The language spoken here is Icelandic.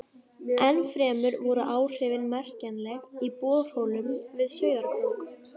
Ennfremur voru áhrifin merkjanleg í borholum við Sauðárkrók.